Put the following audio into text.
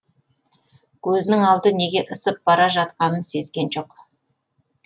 көзінің алды неге ысып бара жатқанын сезген жоқ